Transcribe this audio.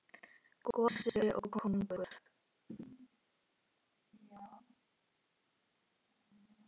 Gosi og kóngur.